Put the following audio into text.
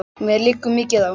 Mér liggur mikið á!